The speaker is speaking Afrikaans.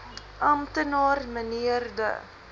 amptenaar mnr de